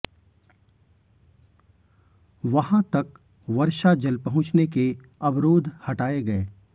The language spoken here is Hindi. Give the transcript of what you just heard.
वहां तक वर्षा जल पहुंचने के अवरोध हटाए गए